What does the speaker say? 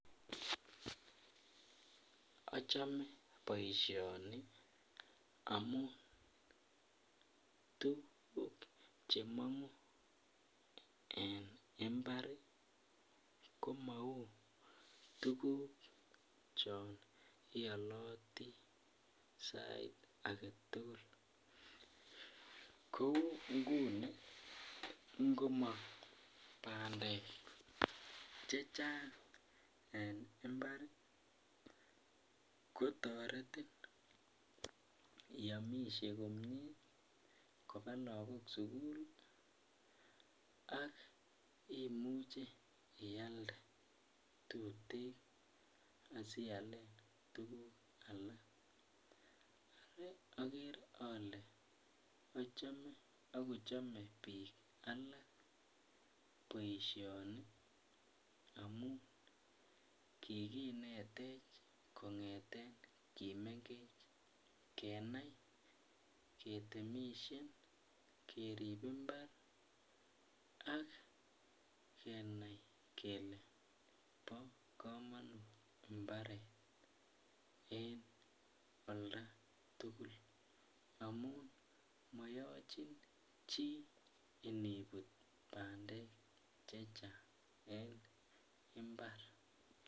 Achome boisioni amun tuguk chemong'uu, en mbar komou tuguk chon ialoti sait agetugul kou nguni ngomong bandek chechang en mbar kotoretin iamishe komie ,kobaa lagok sugul, ak imuche ialde tuten asialen tuguk alak. akere ale achome akochome biik alak boisioni amun kikinetech kong'eten kimengech kenai ketemishen kerip mbar akenai kele bo kamonut mbaret en oldatugul amun moyochin chii inibut bandek chachang en mbar.